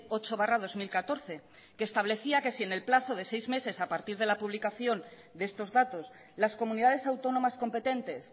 ocho barra dos mil catorce que establecía que si en el plazo de seis meses a partir de la publicación de estos datos las comunidades autónomas competentes